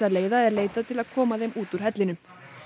leiða er leitað til að koma þeim út úr hellinum